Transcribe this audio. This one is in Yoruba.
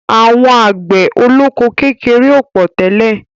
Àwọn àgbẹ̀ olóko kékeré ò pọ̀ tẹ́lẹ̀.